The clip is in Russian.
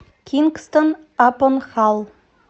кингстон апон халл